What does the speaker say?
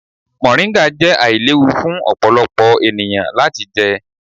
Moringa jẹ ailewu fun ọpọlọpọ eniyan lati jẹ.